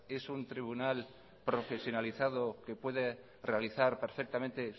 es un tribunal profesionalizado que puede realizar perfectamente